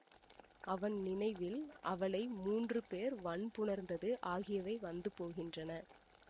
அவன் நினைவில் அவளை மூன்று பேர் வண்புணர்ந்தது ஆகியவை வந்து போகின்றன